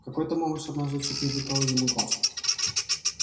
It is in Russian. какой то малыш однажды чуть не выколол ему глаз